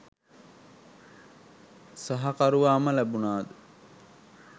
සහකරුවාම ලැබුණාද?